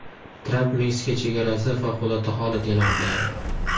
Tramp Meksika chegarasida favqulodda holat e’lon qiladi.